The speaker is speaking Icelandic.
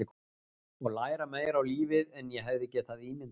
Og læra meira um lífið en ég hefði getað ímyndað mér.